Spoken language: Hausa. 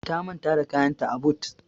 Ta manta da kayanta a but.